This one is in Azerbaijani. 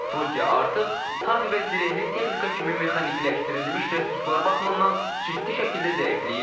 Rusiya artıq tank və zirehli texnika kimi mexanikiləşdirilmiş resurslar baxımından ciddi şəkildə zəifləyib.